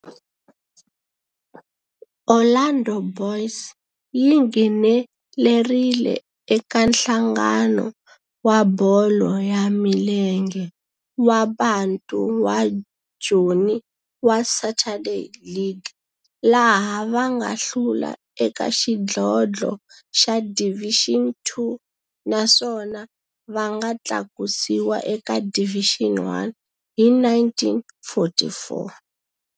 Orlando Boys yi nghenelerile eka Nhlangano wa Bolo ya Milenge wa Bantu wa Joni wa Saturday League, laha va nga hlula eka xidlodlo xa Division Two naswona va nga tlakusiwa eka Division One hi 1944.